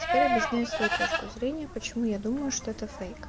теперь объясняй свою точку зрения почему я думаю что это фейк